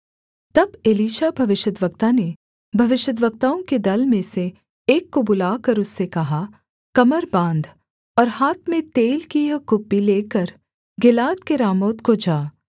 तब एलीशा भविष्यद्वक्ता ने भविष्यद्वक्ताओं के दल में से एक को बुलाकर उससे कहा कमर बाँध और हाथ में तेल की यह कुप्पी लेकर गिलाद के रामोत को जा